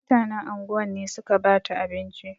Mutanen anguwan ne suka bata abinci.